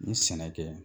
N ye sɛnɛ kɛ